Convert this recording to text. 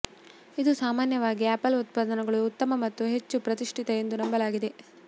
ಇದು ಸಾಮಾನ್ಯವಾಗಿ ಆಪಲ್ ಉತ್ಪನ್ನಗಳು ಉತ್ತಮ ಮತ್ತು ಹೆಚ್ಚು ಪ್ರತಿಷ್ಠಿತ ಎಂದು ನಂಬಲಾಗಿದೆ